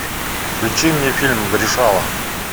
включи мне фильм решала